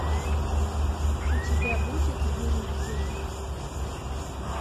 у тебя будет юрьев день